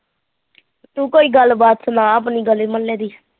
ਤੂੰ ਕੋਈ ਗੱਲ ਬਾਤ ਸੁਣਾ ਆਪਣੀ ਗਲੀ ਮੁਹੱਲੇ ਦੀ